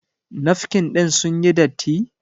Nafkin ɗin sun yi datti?